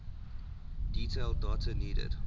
detailed data needed